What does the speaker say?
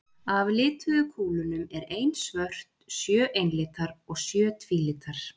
Af lituðu kúlunum er ein svört, sjö einlitar og sjö tvílitar.